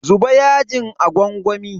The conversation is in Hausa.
Zuba yajin a gwangwami.